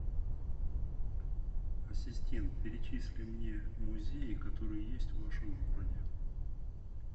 ассистент перечисли мне музеи которые есть в вашем городе